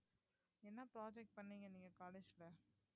என்ன project பண்ணீங்க நீங்க college ல